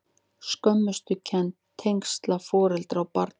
Skömmustukennd- tengsl foreldra og barna